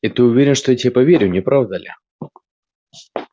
и ты уверен что я тебе поверю не правда ли